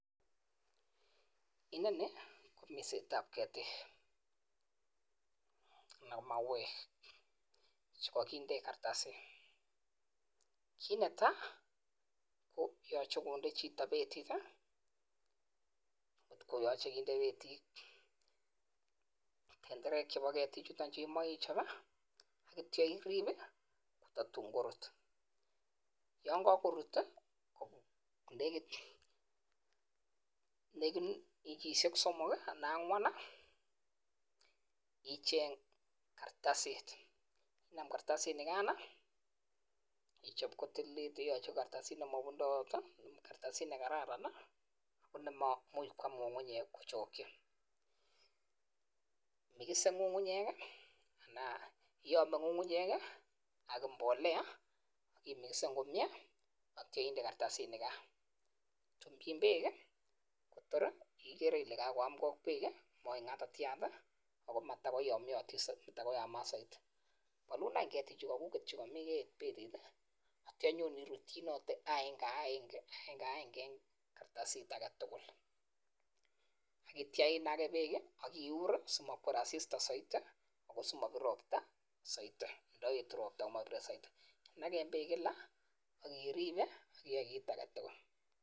Inoniii kominset ap ketik anan komauek chekakinde jaratasit yangakorut negit wikishek somok anan KO angwan keistoii karatasii nitok